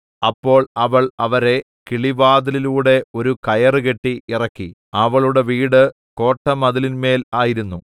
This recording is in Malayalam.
അപ്പോൾ അവൾ അവരെ കിളിവാതിലിലൂടെ ഒരു കയറുകെട്ടി ഇറക്കി അവളുടെ വീട് കോട്ടമതിലിന്മേൽ ആയിരുന്നു